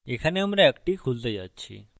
এখানে আমরা একটি খুলতে যাচ্ছি